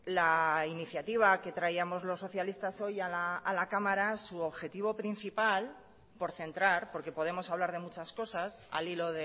la iniciativa que traíamos los socialistas hoy a la cámara su objetivo principal por centrar porque podemos hablar de muchas cosas al hilo